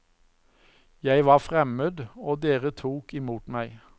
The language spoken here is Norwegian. Jeg var fremmed, og dere tok imot meg.